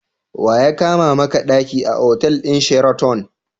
Wa ya kama maka ɗaki a otal ɗin Sheraton?